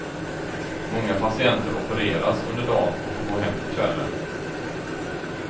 Många patienter opereras under dan och får gå hem till kvällen.